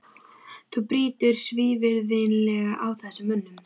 Þú brýtur svívirðilega á þessum mönnum!